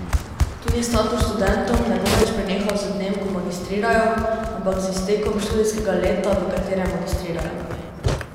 Tudi status študentom ne bo več prenehal z dnem, ko magistrirajo, ampak z iztekom študijskega leta, v katerem magistrirajo.